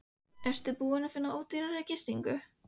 Ertu búinn að finna ódýrari gistingu?